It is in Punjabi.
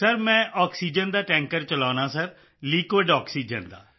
ਸਰ ਮੈਂ ਆਕਸੀਜਨ ਦਾ ਟੈਂਕਰ ਚਲਾਉਂਦਾ ਹਾਂ ਸਰ ਲਿਕੁਇਡ ਆਕਸੀਜਨ ਦਾ